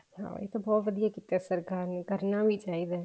ਹਾਂ ਇਹ ਤਾਂ ਬਹੁਤ ਵਧੀਆ ਕੀਤਾ ਸਰਕਾਰ ਨੇ ਕਰਨਾ ਵੀ ਚਾਹੀਦਾ